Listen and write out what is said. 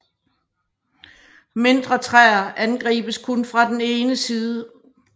Mindre træer angribes kun fra den ene side